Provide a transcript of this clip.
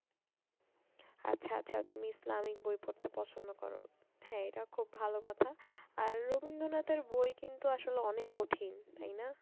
আচ্ছা আচ্ছা তুমি ইসলামিক বই পড়তে পছন্দ কর। হ্যাঁ এটাও খুব ভালো কথা আর রবীন্দ্রনাথের বই কিন্তু আসলে অনেক কঠিন তাই না?